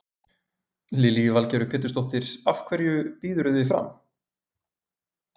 Lillý Valgerður Pétursdóttir: Af hverju býðurðu þig fram?